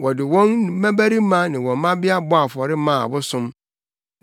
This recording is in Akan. Wɔde wɔn mmabarima ne wɔn mmabea bɔɔ afɔre maa abosom.